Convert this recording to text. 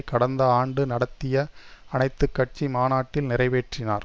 கடந்த ஆண்டு நடத்திய அனைத்து கட்சி மாநாட்டில் நிறைவேற்றினார்